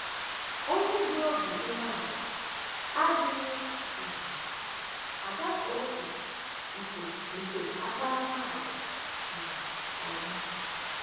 um Onye dị obi umeala adịghị um agafe ókè nke nke akparamàgwà um ọma.